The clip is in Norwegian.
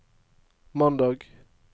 mandag